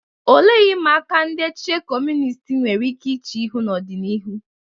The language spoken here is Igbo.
Olee ihe ịma aka ndị echiche Kọmunist nwere ike iche ihu n'ọdịnihu?